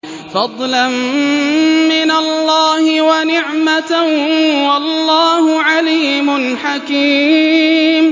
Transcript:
فَضْلًا مِّنَ اللَّهِ وَنِعْمَةً ۚ وَاللَّهُ عَلِيمٌ حَكِيمٌ